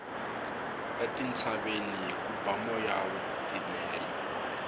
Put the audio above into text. etintshaveni ku ba moya wo titimela